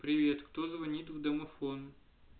привет кто звонит в домофон